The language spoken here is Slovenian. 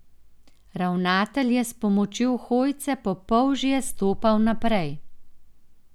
Ravnatelj je s pomočjo hojce po polžje stopal naprej.